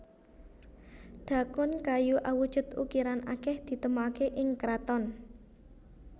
Dhakon kayu awujud ukiran akeh ditemokake ing kraton